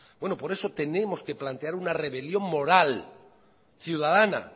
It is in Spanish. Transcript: bueno por eso tenemos que plantear una rebelión moral ciudadana